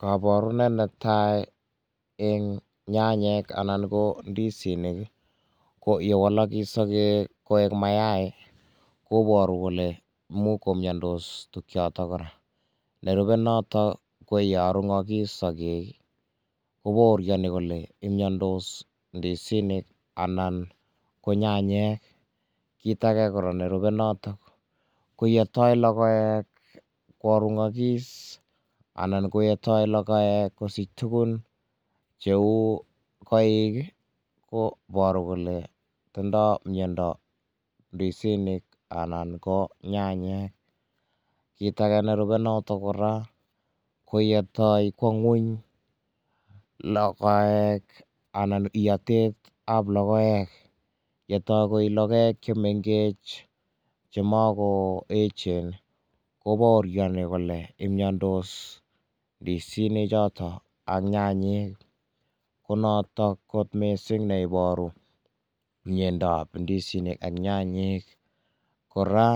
Kaborunet netaa eng nyanyek anan ko ndisinik ii, ko ye walak sokek koek mayai koboru kole imuch komnyodos tukuchoto kora, nerube notok ko ye arungak sokek ko baoriani kole mnyondos ndisinik anan nyanyek, kit ake kora nerube notok Koo yenam lokoek koarunyak anan ko yenam lokoek kosich tukuk cheu koik Ii koboru kole tindo mnyondo ndisinik anan ko nyanyek, kit ake nerube notok kora ko yenam kwo ngwony lokoek anan iatet ab lokoek, yetoi koi lokoek chemengech chemako echen ko baoriani kole mnyondos ndisinik anan nyanyek, ko natok kot mising ne iboru myondob ndisinik ak nyayek, kora